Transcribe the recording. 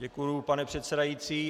Děkuju, pane předsedající.